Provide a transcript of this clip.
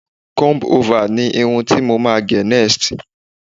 comb over ni Irun ti mo ma gé next